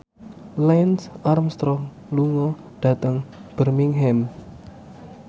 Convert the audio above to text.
Lance Armstrong lunga dhateng Birmingham